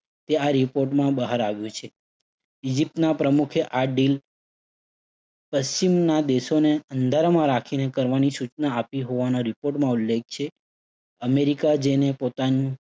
તે આ report માં બહાર આવ્યું છે. ઈજીપ્તના પ્રમુખે આ deal પશ્ચિમના દેશોને અંધારામાં રાખીને કરવાની સૂચના આપી હોવાનો report માં ઉલ્લેખ છે. અમેરિકા જેને પોતાનું